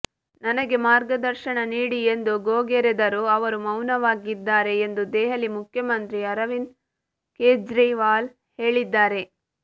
ನನಗೆ ಮಾರ್ಗದರ್ಶನ ನೀಡಿ ಎಂದು ಗೋಗೆರೆದರೂ ಅವರು ಮೌನವಾಗಿದ್ದಾರೆ ಎಂದು ದೆಹಲಿ ಮುಖ್ಯಮಂತ್ರಿ ಅರವಿಂದ್ ಕೇಜ್ರಿವಾಲ್ ಹೇಳಿದ್ದಾರೆ